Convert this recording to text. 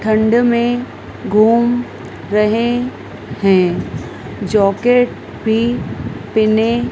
ठंड में घूम रहे है जाकेट भी पहने--